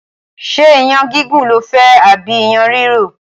Ṣé iyán gígún lofẹ́ tàbí iyán rìrò?